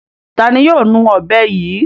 Ta ni yóò nu ọ̀bẹ yìí?